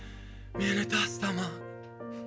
мені тастама